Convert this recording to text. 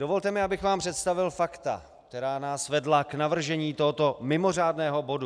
Dovolte mi, abych vám představil fakta, která nás vedla k navržení tohoto mimořádného bodu.